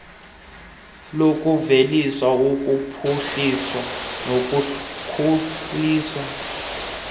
lokuvelisa ukuphuhliswa nokukhuliswa